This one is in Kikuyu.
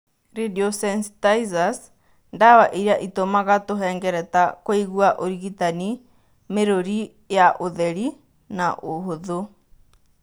Radiosensitizers:ndawa iria ĩtũmaga tũhengereta kũigua ũrigitani mĩrũri ya ũtheri na ũhũthũ.